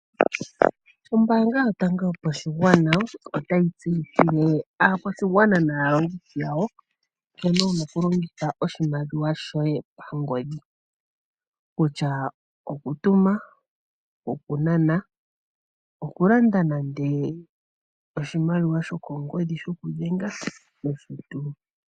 Ombaanga yotango yopashigwana otayi tseyithile aakwashigwana naalongithi yawo nkene wuna oku longitha oshimaliwa shoye pangodhi, kutya okutuma, okunana, okulanda nande oshimaliwa shokongodhi shoku dhenga nosho tuu.